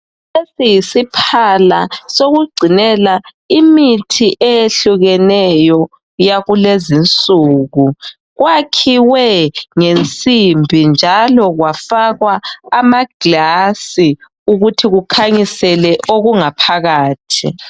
Lesi yisiphala sokugcinela imithi eyehlukeneyo yakulezi insuku kwakhiwe ngensimbi njalo kwafakwa amagilasi ukuthi kukhanyisele okungaphakathi